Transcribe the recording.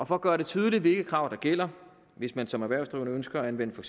for at gøre det tydeligt hvilke krav der gælder hvis man som erhvervsdrivende ønsker at anvende for